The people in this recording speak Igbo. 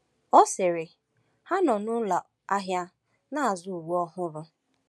Ọ sịrị: “Ha nọ na ụlọ ahịa na-azụ uwe ọhụrụ.”